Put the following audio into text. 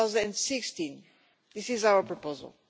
2016. That is our proposal.